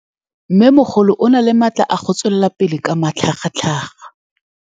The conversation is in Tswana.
Mmêmogolo o na le matla a go tswelela pele ka matlhagatlhaga.